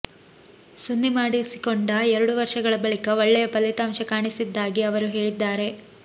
ಸುನ್ನಿ ಮಾಡಿಸಿಕೊಂಡ ಎರಡು ವರ್ಷಗಳ ಬಳಿಕ ಒಳ್ಳೆಯ ಫಲಿತಾಂಶ ಕಾಣಿಸಿದ್ದಾಗಿ ಅವರು ಹೇಳಿದ್ದಾರೆ